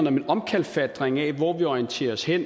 om en omkalfatring af hvor vi orienterer os hen